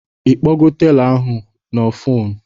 Ịkpọgo telọ ahụ na foonu?